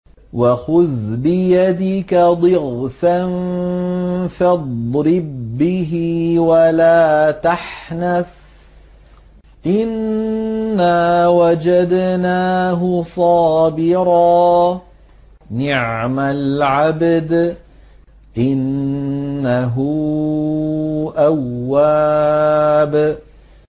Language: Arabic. وَخُذْ بِيَدِكَ ضِغْثًا فَاضْرِب بِّهِ وَلَا تَحْنَثْ ۗ إِنَّا وَجَدْنَاهُ صَابِرًا ۚ نِّعْمَ الْعَبْدُ ۖ إِنَّهُ أَوَّابٌ